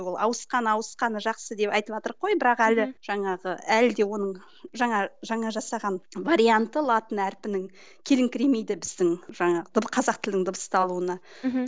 ол ауысқан ауысқаны жақсы деп айтыватырық қой бірақ әлі жаңағы әлі де оның жаңа жаңа жасаған варианты латын әрпінің келіңкіремейді біздің жаңағы қазақ тілінің дыбысталуына мхм